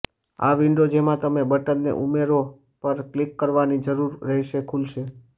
આ વિન્ડો જેમાં તમે બટનને ઉમેરો પર ક્લિક કરવાની જરૂર રહેશે ખુલશે